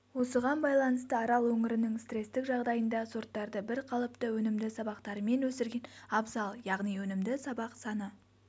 осыған байланысты арал өңірінің стресстік жағдайында сорттарды бірқалыпты өнімді сабақтарымен өсірген абзал яғни өнімді сабақ саны